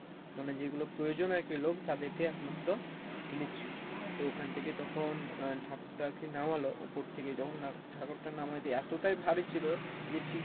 মানে যেগুলো প্রয়োজন আর কী লোক তাদের কে একমাত্র নিচ্ছিলো তো ওখান থেকে তখন আহ ঠাকুর টা আর কী নামালো উপর থেকে যখন ঠাকুর টা নামই দিয়ে এতটাই ভারী ছিলো যে ঠিক